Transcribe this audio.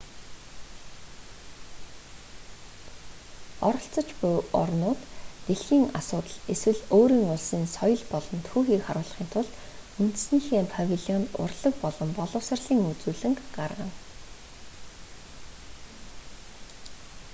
оролцож буй улс орнууд дэлхийн асуудал эсвэл өөрийн улсын соёл болон түүхийг харуулахын тулд үндэснийхээ павильонд урлаг болон боловсролын үзүүлэнг гаргана